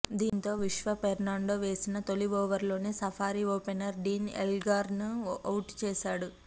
దీంతో విశ్వ ఫెర్నాండో వేసిన తొలి ఓవర్లోనే సఫారీ ఓపెనర్ డీన్ ఎల్గర్ను ఔట్ చేశాడు